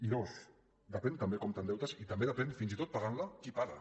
i dos depèn també com t’endeutes i també depèn fins i tot pagant la qui paga